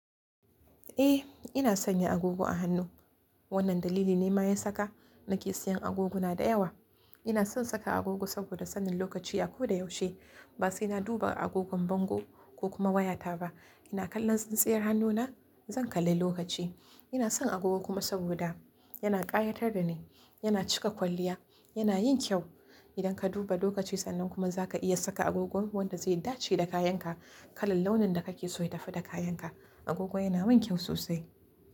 Eh ina sanya agogo a hannu. Wannan dalili ne ma ya saka nake siyan agogona da yawa. Ina son saka agogo saboda sanin lokaci a ko da yaushe. Ba sai na duba agogon bango ko kuma wayata ba. Ina kallon tsintsiyar hannuna zan kalla lokaci. Ina son agogo kuma saboda yana ƙayatar da ni, yana cika kwalliya, yana yin kyau. Idan ka duba lokaci sannan kuma za ka iya saka agogon wanda zai dace da kayanka, kalar launin da kake so ya tafi da kayanka. Agogo yana mun kyau sosai.